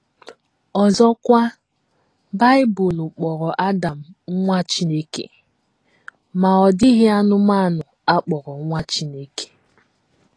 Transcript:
Ọzọkwa, Bible kpọrọ Adam “ nwa Chineke, ” ma ọ dịghị anụmanụ a kpọrọ nwa Chineke.